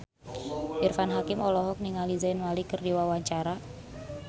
Irfan Hakim olohok ningali Zayn Malik keur diwawancara